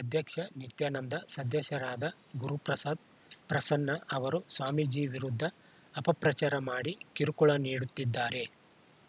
ಅಧ್ಯಕ್ಷ ನಿತ್ಯಾನಂದ ಸದಸ್ಯರಾದ ಗುರುಪ್ರಸಾದ್‌ಪ್ರಸನ್ನ ಅವರು ಸ್ವಾಮೀಜಿ ವಿರುದ್ಧ ಅಪಪ್ರಚಾರ ಮಾಡಿ ಕಿರುಕುಳ ನೀಡುತ್ತಿದ್ದಾರೆ